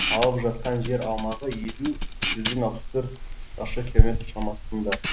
алып жатқан жер аумағы елу жүзден алпыс төрт шаршы километр шамасында